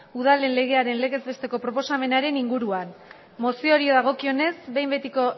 udalen legearen legez besteko proposamenaren inguruan mozioari dagokionez behin betiko